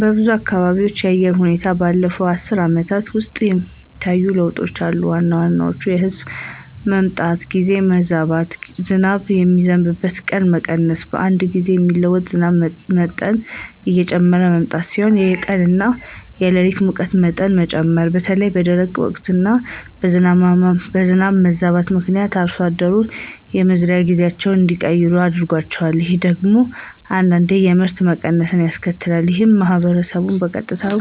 በብዙ አካባቢዎች የአየር ሁኔታ ባለፉት አስርት ዓመታት ውስጥ የሚታዩ ለውጦች አሉ። ዋና ዋናዎቹ የዝናብ መምጣት ጊዜ መዛባት፣ ዝናብ የሚዘንብባቸው ቀናት መቀነስ፣ በአንድ ጊዜ የሚጥለው ዝናብ መጠን እየጨመረ መምጣት ሲሆኑ የቀን እና የሌሊት ሙቀት መጠን መጨመር በተለይም በደረቅ ወቅቶች እና የዝናብ መዛባት ምክንያት አርሶ አደሮች የመዝሪያ ጊዜያቸውን እንዲቀይሩ አድርጓል። ይህ ደግሞ አንዳንዴ የምርት መቀነስን ያስከትላል። ይህም ማህበረሰቡን በቀጥታም